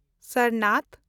Sarnath